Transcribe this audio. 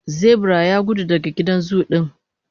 zebiran Yagudu daga gidan zu din